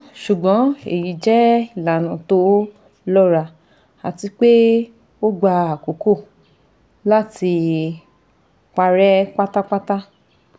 Ṣùgbọ́n èyí jẹ́ ìlànà tó lọ́ra àti pé ó gba àkókò láti parẹ́ pátápátá